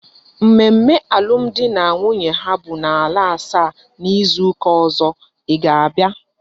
Mmemme alum di na nwunye ha bu na ala asaa na izu uka ozo I ga abia?